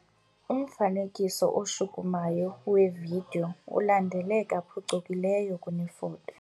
Umfanekiso oshukumayo wevidiyo ulandeleka phucukileyo kunefoto.